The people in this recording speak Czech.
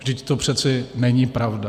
Vždyť to přece není pravda.